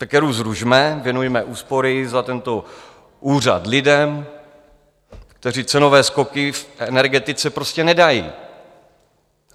Tak ERÚ zrušme, věnujme úspory za tento úřad lidem, kteří cenové skoky v energetice prostě nedají.